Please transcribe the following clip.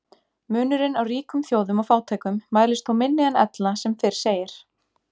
Munurinn á ríkum þjóðum og fátækum mælist þó minni en ella sem fyrr segir.